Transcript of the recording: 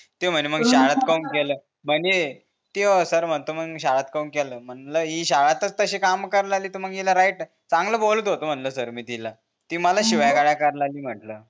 ते म्हणे मंग शाळेत काहून केलं म्हणे सर म्हणता मंग शाळेत काहून केलं म्हणलं हि शाळेतच तशी काम करा लागली त मंग हिला राईट चांगलं बोलत होतो म्हणलं सर मी तिला ती मला शिव्या गाळ्या करा लागली म्हंटल